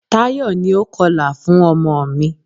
Táyọ̀ ni o kọlà fún ọmọ mi.